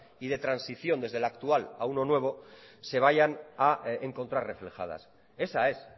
y de transición desde la actual a uno nuevo se vayan a encontrar reflejadas esa es